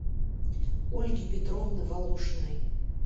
ольги петровны волошиной